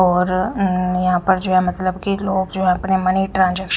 और अं यहां पर जो है मतलब कि लोग जो है अपने मनी ट्रांजे --